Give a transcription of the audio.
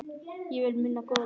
Ég vil muna góðu dagana.